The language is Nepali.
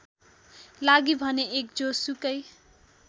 लागि भने १ जोसुकै